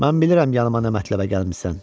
Mən bilirəm yanıma nə mətləbə gəlmisən.